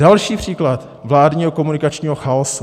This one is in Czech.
Další příklad vládního komunikačními chaosu.